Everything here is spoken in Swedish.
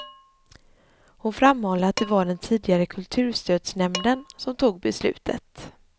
Hon framhåller att det var den tidigare kulturstödsnämnden som tog beslutet.